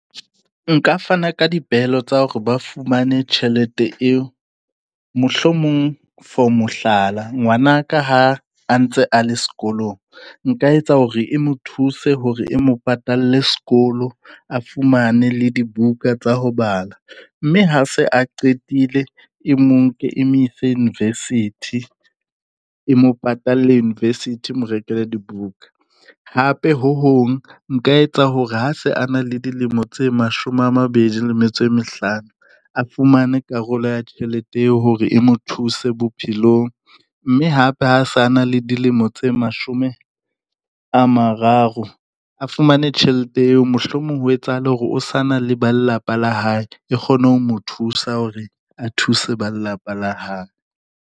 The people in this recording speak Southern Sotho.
Nka fana ka dipehelo tsa hore ba fumane tjhelete eo mohlomong for mohlala, ngwana ka ha a ntse a le sekolong nka etsa hore e mo thuse hore e mo patalle sekolo a fumane le dibuka tsa ho bala. Mme ha se a qetile, e mo nke e mo ise university e mo patale university, e mo rekele dibuka. Hape ho hong, nka etsa hore ha se a na le dilemo tse mashome a mabedi le metso e mehlano, a fumane karolo ya tjhelete eo hore e mo thuse bophelong. Mme hape ha sa na le dilemo tse mashome a mararo a fumane tjhelete eo. Mohlomong ho etsahale hore o sa na le ba lelapa la hae e kgone ho mo thusa hore a thuse ba lelapa la hae.